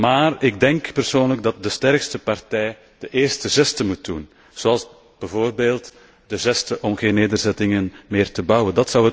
Maar ik denk persoonlijk dat de sterkste partij de eerste geste moet doen, zoals bijvoorbeeld de geste om geen nederzettingen meer te bouwen.